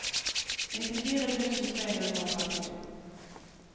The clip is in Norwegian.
nittifire tusen tre hundre og trettito